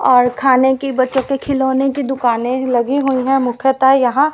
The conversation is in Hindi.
और खाने की बच्चों के खिलौने की दुकान लगी हुई है मुख्यतः यहां--